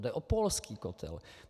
Jde o polský kotel.